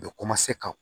U bɛ ka